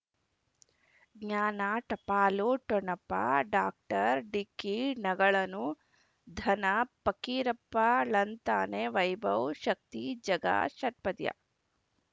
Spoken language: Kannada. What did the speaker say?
ಜ್ಞಾನ ಟಪಾಲು ಠೊಣಪ ಡಾಕ್ಟರ್ ಢಿಕ್ಕಿ ಣಗಳನು ಧನ ಫಕೀರಪ್ಪ ಳಂತಾನೆ ವೈಭವ್ ಶಕ್ತಿ ಝಗಾ ಷಟ್ಪದಿಯ